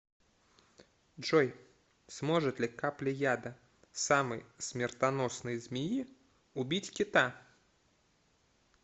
джой сможет ли капля яда самой смертоносной змеи убить кита